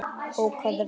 Ókvæða við